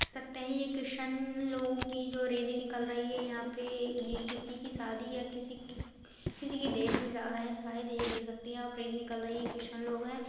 ये क्रिश्चियन लोगो कि जो रैली निकल रही है ये यहाँ पे ये किसी की शादी या किसी कि किसी की डेथ में जा रहे हैं शायद ये देख सकते है आप परेड निकल रही है क्रिश्चियन लोग है।